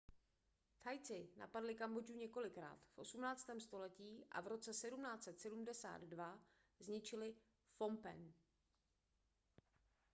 thajci napadli kambodžu několikrát v 18. století a v roce 1772 zničili phnompenh